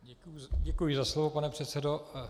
Děkuji za slovo, pane předsedo.